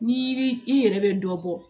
N'i i yɛrɛ bɛ dɔ bɔ